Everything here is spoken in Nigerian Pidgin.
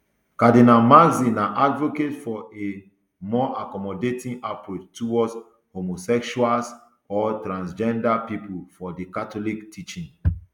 cardinal marx na advocate for a more accommodating approach towards homosexuals or transgender pipo for di catholic teaching